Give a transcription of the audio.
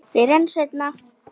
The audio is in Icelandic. Fyrr en seinna.